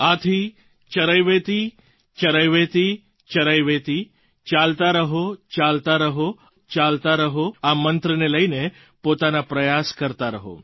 આથી ચરૈવેતિચરૈવેતિચરૈવેતિ ચાલતા રહોચાલતા રહોચાલતા રહો આ મંત્રને લઈને પોતાના પ્રયાસ કરતા રહો